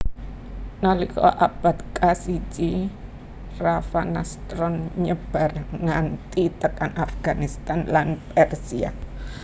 Nalika abad kasiji Ravanastron nyebar nganti tekan Afghanistan lan Persia